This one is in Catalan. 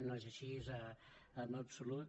no és així en absolut